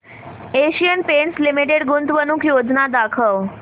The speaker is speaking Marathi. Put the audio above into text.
एशियन पेंट्स लिमिटेड गुंतवणूक योजना दाखव